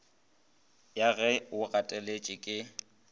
ya ge o gateletše ke